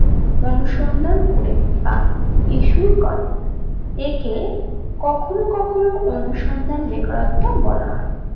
অনুসন্ধান করে বা এষু করে একে কখনো কখনো অনুসন্ধান বেকারত্ব বলাহয়